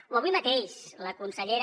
o avui mateix la consellera